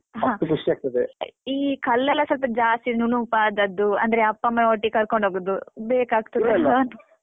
ಈ ಕಲ್ಲೆಲ್ಲ ಸ್ವಲ್ಪ ಜಾಸ್ತಿ ನುಣುಪಾದದ್ದು ಅಂದ್ರೆ ಅಪ್ಪಮ್ಮನ ಒಟ್ಟಿಗ್ ಕರ್ಕೊಂಡ್ ಹೋಗುದು